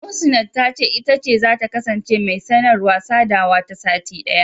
Muhsinat ta ce, ita ce zata kasance mai sanarwa/sadawa na sati ɗaya.